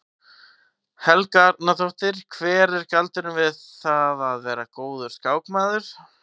Helga Arnardóttir: Hver er galdurinn við það að vera góður skákmaður?